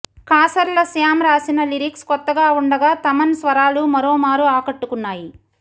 కాసర్ల శ్యామ్ రాసిన లిరిక్స్ కొత్తగా ఉండగా థమన్ స్వరాలు మరోమారు ఆకట్టుకున్నాయి